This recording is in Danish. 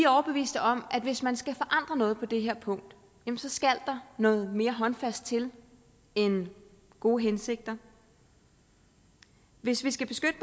overbevist om at hvis man skal forandre noget på det her punkt skal der noget mere håndfast til end gode hensigter hvis vi skal beskytte